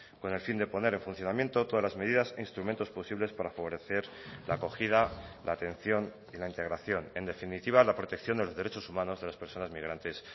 con el fin de poner en funcionamiento todas las medidas e instrumentos posibles para favorecer la acogida la atención y la integración en definitiva la protección de los derechos humanos de las personas migrantes